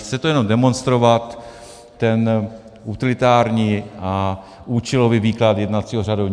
Chci tu jenom demonstrovat ten utilitární a účelový výklad jednacího řádu.